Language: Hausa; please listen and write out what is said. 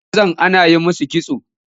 Wasu mazan ana yi musu kitso